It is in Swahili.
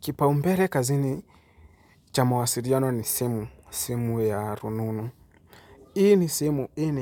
Kipaumbele kazini cha mawasiliano ni simu, simu ya rununu. Hii ni simu, hii